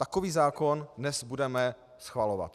Takový zákon dnes budeme schvalovat.